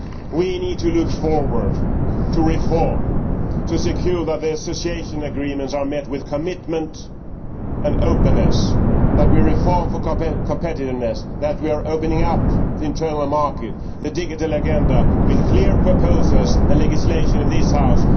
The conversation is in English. We need to look forward to reform and ensure that the association agreements are met with commitment and openness, that we reform for competitiveness, and that we are opening up the internal market and the digital agenda with clear proposals and legislation in this House.